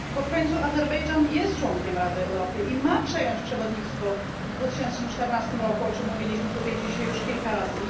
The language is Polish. Bo w końcu Azerbejdżan jest członkiem Rady Europy i ma przejąć przewodnictwo w 2014 roku, o czym mówiliśmy tutaj dzisiaj już kilka razy.